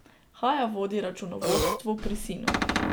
Haja vodi računovodstvo pri sinu.